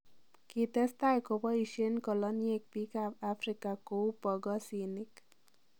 Kitestai koboisien koloniek biik ab Afrika kou bogosiinik.